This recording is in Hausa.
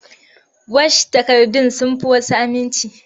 Wash takardun sun fi wasu aminci.